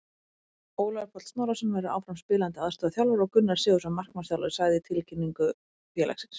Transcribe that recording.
Ólafur Páll Snorrason verður áfram spilandi aðstoðarþjálfari og Gunnar Sigurðsson markmannsþjálfari, sagði í tilkynningu félagsins.